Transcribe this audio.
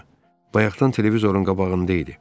Bayaqdan televizorun qabağında idi.